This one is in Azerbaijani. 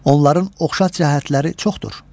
Onların oxşar cəhətləri çoxdur: